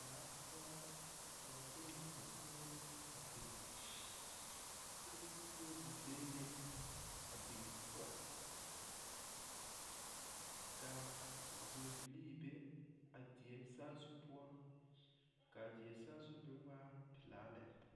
Daa poɔ la ka ba de dakogro biŋ kyɛ de tebolee meŋ a biŋ poɔ ka vūūbilii be a die saazu poɔ ka a die saazu mrŋ waa pelaa lɛ.